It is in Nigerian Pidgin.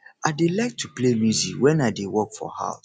i dey like to play music wen i dey work for house